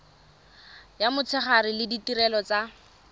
ya motshegare le ditirelo tsa